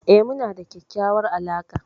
E, muna da kyakkyawar alaqa.